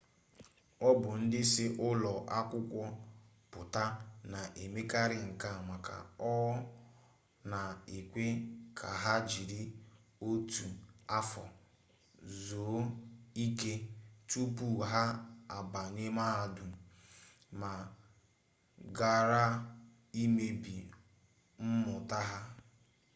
ọ bụ ndị si ụlọ akwụkwọ pụta na-emekarị nke a maka ọ na-ekwe ka ha jiri otu afọ zuo ike tupu ha abanye mahadum ma ghara imebi mmụta ha